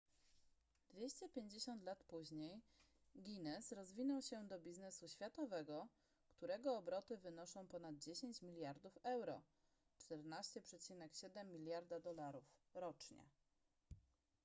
250 lat później guinness rozwinął się do biznesu światowego którego obroty wynoszą ponad 10 miliardów euro 14,7 miliarda dolarów rocznie